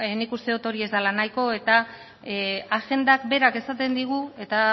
nik uste dut hori ez dela nahiko eta agendak berak esaten digu eta